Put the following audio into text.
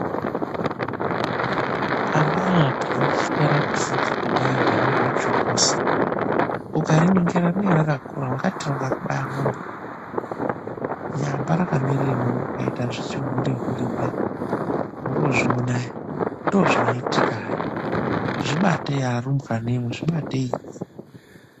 Amunaa tinopera kufa nekubairwa nemajokoso. Ukariningira rinenge rakakura ungati rinoda kubaya mwombe. Nyamba rakamirire iwewe, ukaita zvechihure-hure kudai. Murikuzviona ere? Ndoo zvinoitika hai! Zvibatei arumbwanemwi, zvibatei.